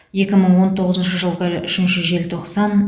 екі мың он тоғызыншы жылғы үшінші желтоқсан